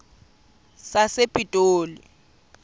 sasepitoli